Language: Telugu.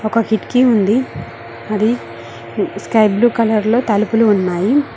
ఒక కిటికీ ఉంది అది స్కై బ్లు కలర్లో తలుపులు ఉన్నాయి.